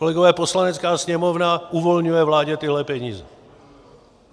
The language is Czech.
Kolegové, Poslanecká sněmovna uvolňuje vládě tyhle peníze.